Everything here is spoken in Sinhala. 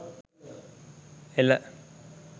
ela